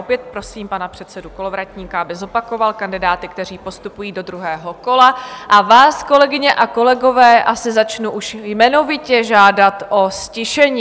Opět prosím pana předsedu Kolovratníka, aby zopakoval kandidáty, kteří postupují do druhého kola, a vás, kolegyně a kolegové, asi začnu už jmenovitě žádat o ztišení.